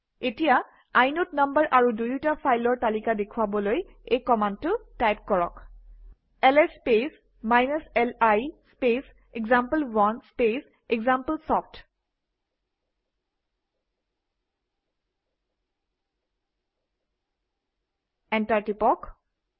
এতিয়া inode number আৰু দুয়োটা ফাইলৰ তালিকা দেখুৱাবলৈ এই কমাণ্ডটো টাইপ কৰক - L S space li space example one space example soft enter টিপক